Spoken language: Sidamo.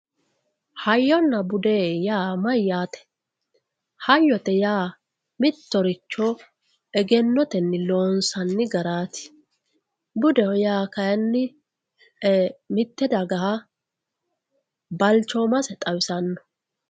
hayyonna bude yaa mayyaate hayyote yaa mittoricho egennotenni loonsanni garaati budeho yaa kayiinni mitte dagaha balchoomase xawisanno.